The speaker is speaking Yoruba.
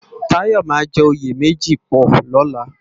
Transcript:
Tayo má jè óyé mèji pò lòlá